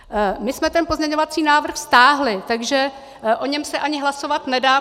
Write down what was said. My jsme ten pozměňovací návrh stáhli, takže o něm se ani hlasovat nedá.